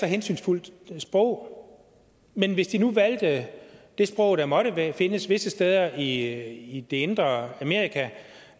hensynsfuldt sprog men hvis de nu valgte det sprog der måtte findes visse steder i det indre amerika